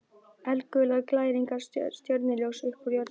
Eldgular glæringar, stjörnuljós upp úr jörðinni.